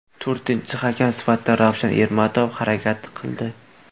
To‘rtinchi hakam sifatida Ravshan Ermatov harakat qildi.